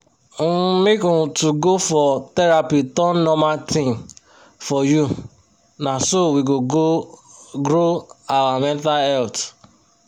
um make um to go for therapy turn normal thing for you na so we go grow our mental health